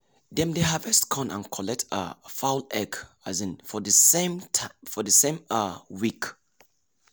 dem dey harvest corn and collect um fowl egg um for the same um week.